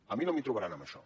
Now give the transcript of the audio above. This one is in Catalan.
a mi no m’hi trobaran en això